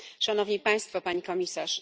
Pani Komisarz!